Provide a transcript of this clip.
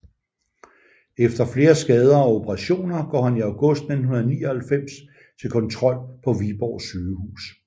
Efter flere skader og operationer går han i august 1999 til kontrol på Viborg Sygehus